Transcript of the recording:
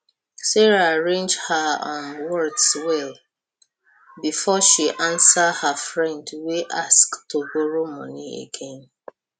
sarah arrange her um words well before she answer her friend wey ask to borrow money again